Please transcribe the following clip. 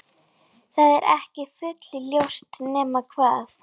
Það er ekki full-ljóst, nema hvað